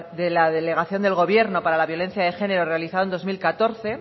de la delegación del gobierno para la violencia de género realizada en dos mil catorce